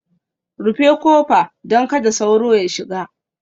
Rufe kofa, don kada sauro ya shiga